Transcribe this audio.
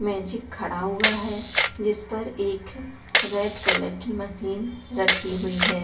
Magic खड़ा हुआ है जिस पर एक रेड कलर की मशीन रखी हुई है।